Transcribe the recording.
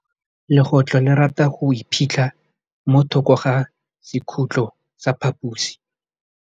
Legôtlô le rata go iphitlha mo thokô ga sekhutlo sa phaposi.